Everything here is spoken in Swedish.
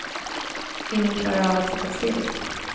Ingen klarar av att sitta still.